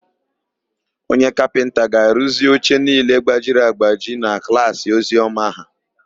Onye kapịnta ga-arụzi oche niile gbajiri agbaji na klaasị Oziọma ha.